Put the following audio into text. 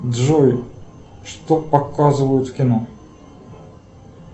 джой что показывают в кино